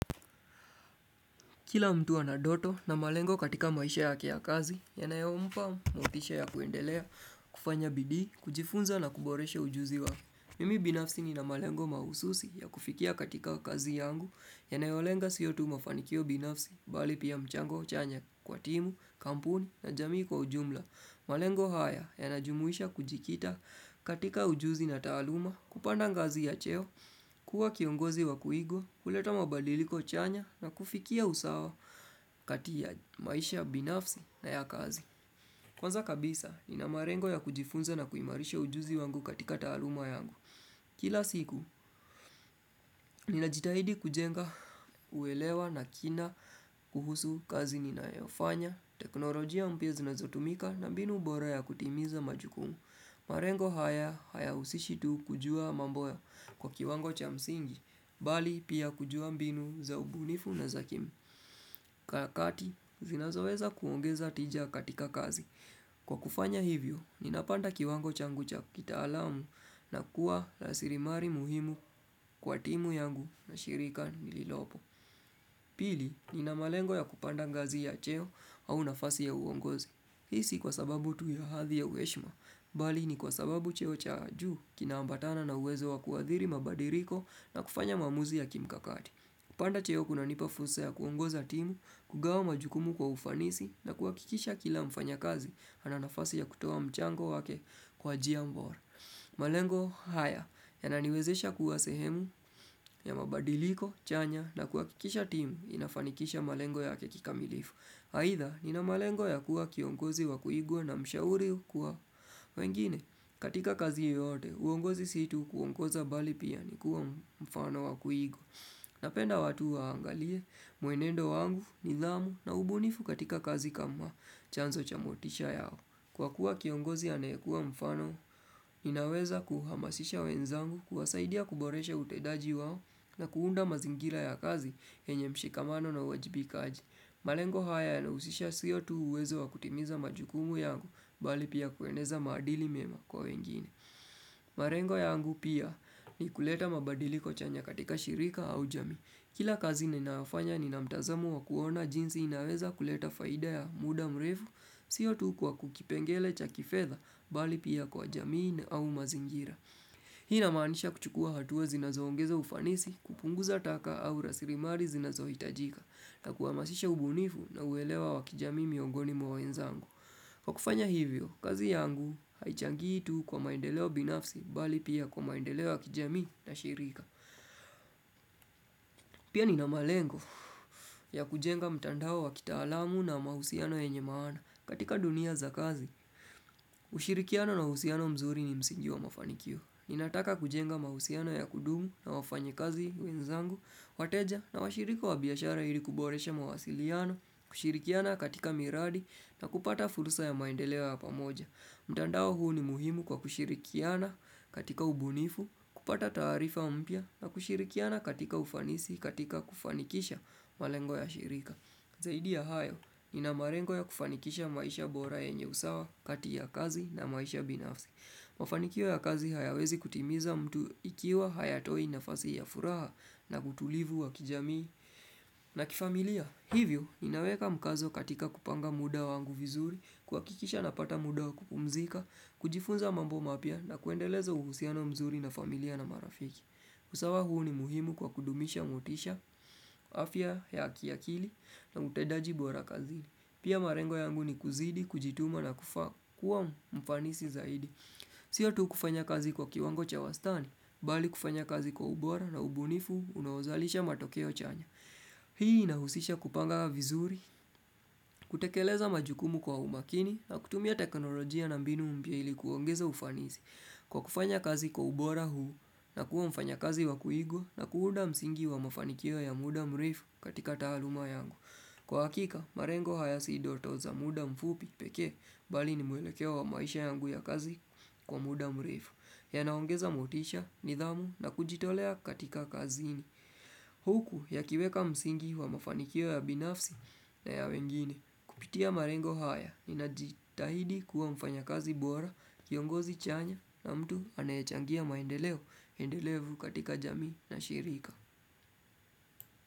Kila mtu ana doto na malengo katika maisha yake ya kazi, yanayompa motisha ya kuendelea, kufanya bidii, kujifunza na kuboreshe ujuzi wake. Mimi binafsi ni na malengo mahususi ya kufikia katika kazi yangu, yanayolenga siyo tu mafanikio binafsi, bali pia mchango chanya kwa timu, kampuni na jamii kwa ujumla. Malengo haya yanajumuisha kujikita katika ujuzi na taaluma, kupanda ngazi ya cheo, kuwa kiongozi wa kuigwa, kuleta mabadiliko chanya na kufikia usawa kati ya maisha binafsi na ya kazi. Kwanza kabisa, nina malengo ya kujifunza na kuimarisha ujuzi wangu katika taluma yangu. Kila siku, ninajitahidi kujenga uelewa na kina kuhusu kazi ninayofanya, teknolojia mpya zinazotumika na mbinu bora ya kutimiza majukumu. Malengo haya, haya usishi tu kujua mambo kwa kiwango cha msingi, bali pia kujua mbinu za ubunifu na za kimu. Karakati, zinazoweza kuongeza tija katika kazi. Kwa kufanya hivyo, ninapanda kiwango changu cha kitaalamu na kuwa raslimali muhimu kwa timu yangu na shirika nililopo. Pili, ninamalengo ya kupanda ngazi ya cheo au nafasi ya uongozi. Hisi kwa sababu tu ya hadhi ya uheshima, bali ni kwa sababu cheo cha juu kina ambatana na uwezo wa kuathiri mabadiliko na kufanya maamuzi ya kimkakati. Kupanda cheo kuna nipafursa ya kuongoza timu, kugawa majukumu kwa ufanisi na kuakikisha kila mfanyakazi ananafasi ya kutowa mchango wake kwa njia bora. Malengo haya yananiwezesha kuwa sehemu ya mabadiliko, chanya na kuakikisha timu inafanikisha malengo yake kikamilifu. Aidha, nina malengo ya kuwa kiongozi wakuigwa na mshauri kwa wengine. Katika kazi yote, uongozi si tu kuongoza bali pia ni kuwa mfano wakuigwa. Napenda watu waangalie, mwenendo wangu, nidhamu na ubunifu katika kazi kama chanzo cha motisha yao. Kwa kuwa kiongozi anayekua mfano, inaweza kuhamasisha wenzangu kuwasaidia kuboreshe utendaji wao na kuunda mazingira ya kazi yenye mshikamano na uwajibikaaji. Malengo haya yanahusisha siyo tu uwezo wa kutimiza majukumu yangu bali pia kueneza maadili mema kwa wengine. Malengo yangu pia ni kuleta mabadiliko chanya katika shirika au jamii. Kila kazi ninaofanya ni na mtazamo wa kuona jinsi inaweza kuleta faida ya muda mrefu siyo tu kwa kukipengele cha kifedha bali pia kwa jamii na au mazingira. Hii inamaanisha kuchukua hatua zinazoongeza ufanisi kupunguza taka au rasilimali zinazo hitajika na kuhamasisha ubunifu na uelewa wakijamii miongoni mwa wenzangu. Kwa kufanya hivyo, kazi yangu haichangii tu kwa maendeleo binafsi bali pia kwa maendeleo wa kijami na shirika. Pia nina malengo ya kujenga mtandao wakitaalamu na mahusiano yenye maana katika dunia za kazi. Ushirikiano na husiano mzuri ni msingi wa mafanikio Ninataka kujenga mahusiano ya kudumu na wafanyakazi wenzangu wateja na washirika wa biashara ili kuboresha mawasiliano kushirikiana katika miradi na kupata fursa ya maendeleo ya pamoja mtandao huu ni muhimu kwa kushirikiana katika ubunifu kupata taarifa mpya na kushirikiana katika ufanisi katika kufanikisha malengo ya shirika Zaidi ya hayo, ni na malengo ya kufanikisha maisha bora yenye usawa, kati ya kazi na maisha binafsi. Mafanikio ya kazi hayawezi kutimiza mtu ikiwa hayatoi nafasi ya furaha na utulivu wa kijamii. Na kifamilia, hivyo, ninaweka mkazo katika kupanga muda wangu vizuri, kuhakikisha napata muda kupumzika, kujifunza mambo mapya na kuendeleza uhusiano mzuri na familia na marafiki. Usawa huu ni muhimu kwa kudumisha motisha, afya ya kiakili na utendaji bora kazini. Pia malengo yangu ni kuzidi, kujituma na kuwa mfanisi zaidi. Sio tu kufanya kazi kwa kiwango cha wastani, bali kufanya kazi kwa ubora na ubunifu unaozalisha matokeo chanya. Hii inahusisha kupanga vizuri, kutekeleza majukumu kwa umakini na kutumia teknolojia na mbinu mpya ili kuongeza ufanisi Kwa kufanya kazi kwa ubora huu na kuwa mfanyakazi wa kuigwa na kuunda msingi wa mafanikio ya muda mrefu katika taaluma yangu Kwa hakika, malengo haya si doto za muda mfupi peke bali ni mwelekeo wa maisha yangu ya kazi kwa muda mrefu yanaongeza motisha, nidhamu na kujitolea katika kazini Huku yakiweka msingi wa mafanikio ya binafsi na ya wengine kupitia malengo haya Nina jitahidi kuwa mfanyakazi bora, kiongozi chanya na mtu anayechangia maendeleo endelevu katika jamii na shirika.